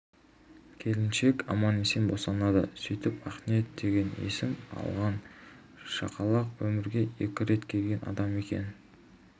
келіншек аман-есен босанады сөйтіп ақниет деген есім алған шақалақ өмірге екі рет келген адам екен